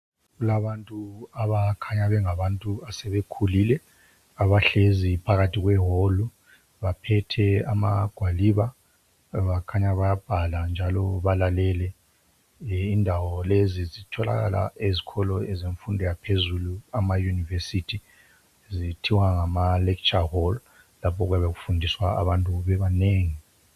Kulabantu abakhanya bengabantu asebekhulile abahlezi phakathi kwewolu, baphethe amagwaliba bakhanya bayabhala njalo balalele. Indawo lezi zitholakala ezikolo zemfundo yaphezulu amayunivesithi zithiwa ngama lekitsha wolu lapho okuyabe kufundiswa abantu bebanengi.